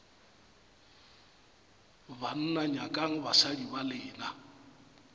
banna nyakang basadi ba lena